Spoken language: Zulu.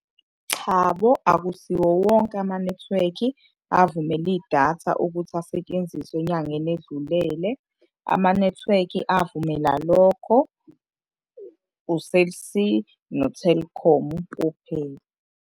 Chabo, akusiwo wonke amanethiwekhi avumela idatha ukuthi asetshenziswe enyangeni edlulele. Amanethiwekhi avumela lokho, u-Cell C no-Telkom kuphela.